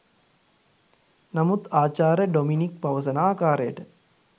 නමුත් ආචාර්ය ඩොමිනික් පවසන ආකාරයට